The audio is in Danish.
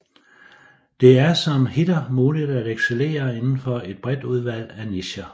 Det er som hitter muligt at excellere inden for et bredt udvalg af nicher